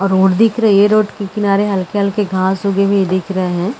Road दिख रही है रोड के किनारे हलके-हलके घास उगे हुए दिख रहे है।